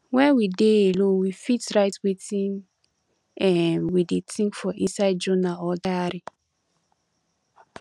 when we dey alone we fit write wetin um we dey think for inside journal or diary